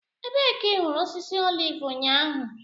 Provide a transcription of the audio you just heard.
Ebee ka ị hụrụ osisi oliv ụnyaahụ?